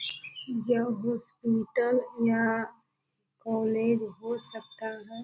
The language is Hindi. यह हॉस्पिटल या कॉलेज हो सकता है।